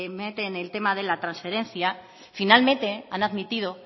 meten el tema de la transferencia finalmente han admitido